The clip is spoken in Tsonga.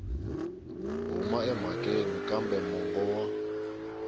huma emhakeni kambe mongo wa